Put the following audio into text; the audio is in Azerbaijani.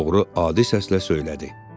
Oğru adi səslə söylədi.